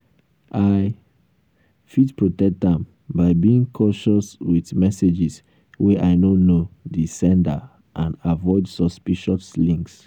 i fit protect am by being cautious with messages wey i no know di sender and avoid suspicious links.